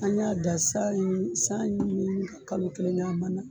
An y'a da sanɲini sanɲini ka kalo kelen kɛ a mana.